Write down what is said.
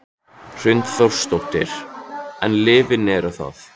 Hrund Þórsdóttir: En lyfin eru það?